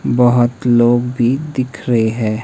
बहोत लोग भी दिख रहे हैं।